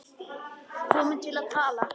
Komin til að tala.